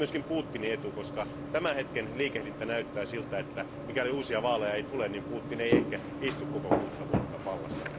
Se on myös Putinin etu, koska tämän hetken liikehdintä näyttää siltä, että mikäli uusia vaaleja ei tule, niin Putin ei ehkä istu koko kuutta vuotta vallassa.